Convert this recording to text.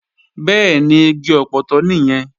Bẹ́ẹ̀ni, igi ọpọtọ nìyẹn